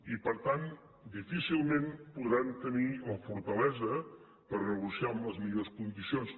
i per tant difícilment podran tenir la fortalesa per negociar en les millors condicions